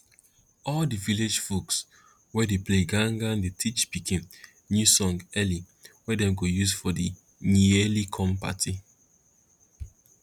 all di village folks wey dey play gangan dey teach pikin new song early wey dem go use for di yearly corn party